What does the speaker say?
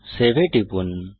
save এ টিপুন